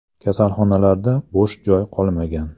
Kasalxonalarda bosh joy qolmagan.